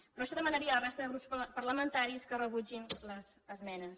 per això demanaria a la resta de grups parlamentaris que rebutgin les esmenes